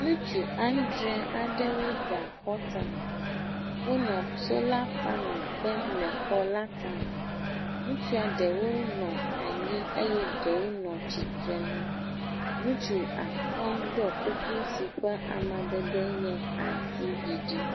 Ŋutsu andre aɖewo da xɔ tame. Wonɔ salor panel dem le xɔ la tame, ŋutsua ɖewo nɔ anyi eye ɖewo nɔ tsitre nu. Ŋutsu atɔ̃ ɖɔ kuku si ƒe amadede nye aŋutiɖiɖi.